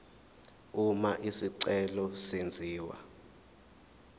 uma isicelo senziwa